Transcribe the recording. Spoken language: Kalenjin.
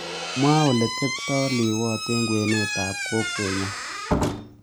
Mwaa ole tepteai liwoot eng' kwenetap kokwenyon